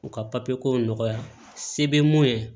U ka papiye kow nɔgɔya se bɛ mun ye